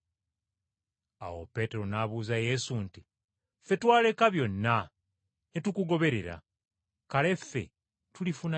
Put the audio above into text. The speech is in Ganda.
Awo Peetero n’abuuza Yesu nti, “Ffe twaleka byonna ne tukugoberera. Kale ffe tulifuna ki?”